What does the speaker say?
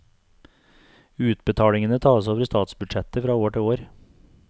Utbetalingene tas over statsbudsjettet fra år til år.